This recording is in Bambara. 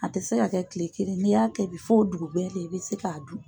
A tɛ se ka kɛ kile kelen n'i y'a kɛ bi fo o dugugɛ le i bɛ se k'a dun.